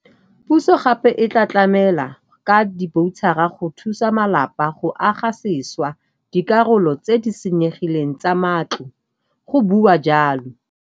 Puso gape e tla tlamela ka diboutšhara go thusa malapa go aga sešwa dikarolo tse di senyegileng tsa matlo, go bua jalo.